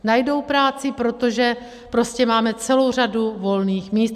Najdou práci, protože prostě máme celou řadu volných míst.